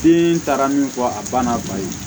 Den taara min fɔ a banna ba ye